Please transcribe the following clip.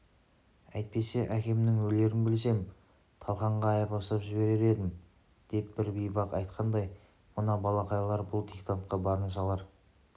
әйтпесе әкемнің өлерін білсем талқанға айырбастап жіберер едім деп бір бейбақ айтқандай мына балақайлар бұл диктантқа барын салар